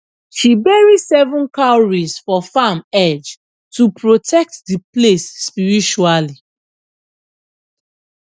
she bury seven cowries for farm edge to protect the place spiritually